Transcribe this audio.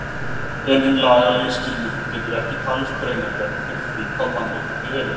En hinn lagalegi skilningur getur ekki talist greinargerð fyrir því hvað mannréttindi eru.